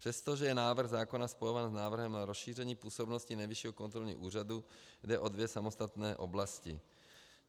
Přestože je návrh zákona spojován s návrhem na rozšíření působnosti Nejvyššího kontrolního úřadu, jde o dvě samostatné oblasti.